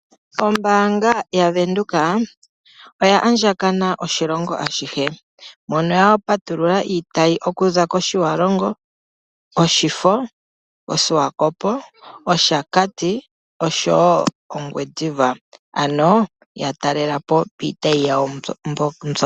Ombaanga ya Venduka oya andjakana oshilongo ashihe, mono ya patulula iitayi ikuza kOtjiwarongo, Oshifo, oSwakopo, Oshakati oshowo Ongwediva. Ano ya talela po piitayi yawo mbyoka.